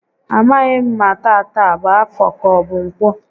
A maghị m ma tata a bụ Afọ ka ọbụ Ǹkwọ